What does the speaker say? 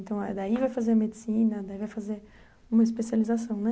Então, é daí vai fazer medicina, daí vai fazer uma especialização, né?